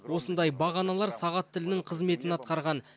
осындай бағаналар сағат тілінің қызметін атқарған